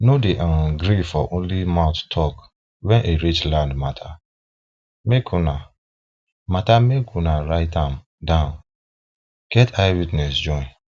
nor dey um gree for only mouth talk wen e reach land mata make unah mata make unah write am down get eye witness join